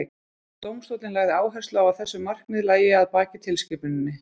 dómstóllinn lagði áherslu á að þessi markmið lægju að baki tilskipuninni